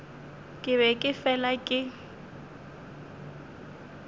ke be ke fela ke